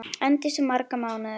Endist í marga mánuði.